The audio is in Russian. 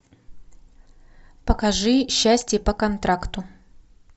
покажи счастье по контракту